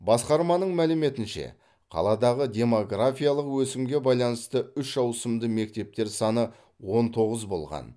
басқарманың мәліметінше қаладағы демографиялық өсімге байланысты үш аусымды мектептер саны он тоғыз болған